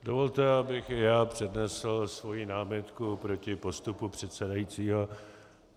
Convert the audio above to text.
Dovolte, abych i já přednesl svoji námitku proti postupu předsedajícího.